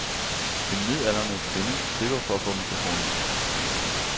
En midaldrende kvinde tripper for at få mikrofonen.